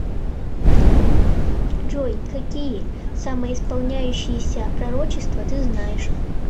джой какие самоисполняющееся пророчество ты знаешь